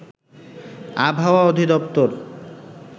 আবহাওয়া অধিদপ্তর